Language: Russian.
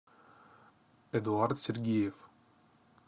эдуард сергеев